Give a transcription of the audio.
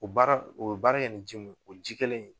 O baara ,o be baara kɛ ni ji mun ye, o ji kelen in